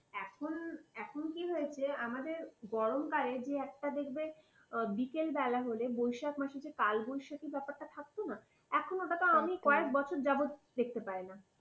এখন, এখন কি হয়েছে, আমাদের গরমকালে যে একটা দেখবে বিকেলবেলা হলে বৈশাখ মাসে যে কালবৈশাখী ব্যাপারটা থাকতো না এখন ওটাতো আমি কয়েক বছর যাবত ওই জিনিসটা দেখতে পাই না।